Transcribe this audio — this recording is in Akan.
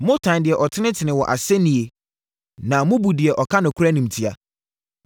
motane deɛ ɔtenetene wɔ asɛnniiɛ na mobu deɛ ɔka nokorɛ animtiaa.